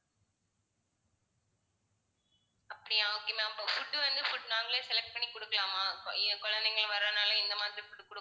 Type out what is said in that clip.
அப்படியா okay ma'am அப்போ food வந்து food நாங்களே select பண்ணி கொடுக்கலாமா என் குழந்தைங்க வர்றதுனால இந்த மாதிறி food குடு~